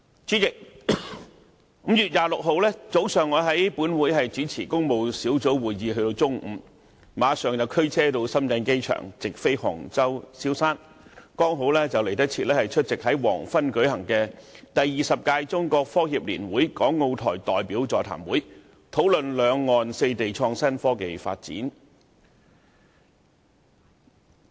主席 ，5 月26日，我在本會主持工務小組委員會的會議至中午，之後，我立即駕車到深圳機場乘直航飛機往杭州蕭山，趕及出席黃昏舉行的"第二十屆中國科協年會港澳台代表座談會"，討論兩岸四地創新科技發展。